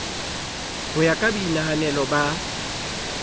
ho ya ka boinahanelo ba